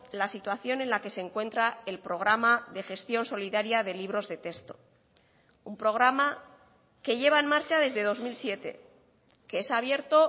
la situación en la que se encuentra el programa de gestión solidaria de libros de texto un programa que lleva en marcha desde dos mil siete que es abierto